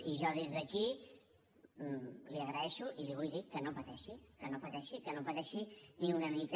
i jo des d’aquí l’hi agraeixo i li vull dir que no pateixi que no pateixi que no pateixi ni una mica